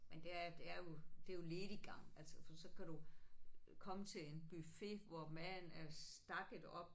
Men det er det er jo det jo lediggang altså så kan du komme til en buffet hvor maden er stakket op